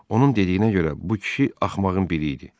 Onun dediyinə görə, bu kişi axmağın biri idi.